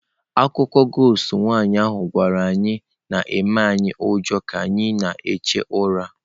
Akụkọ ghost im nwaanyị ahụ gwara anyị na-emenye anyị ụjọ ka anyị na-ehi ụra.